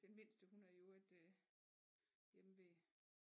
Den mindste hun er i øvrigt øh hjemme ved